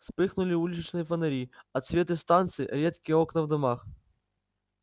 вспыхнули уличные фонари отсветы станции редкие окна в домах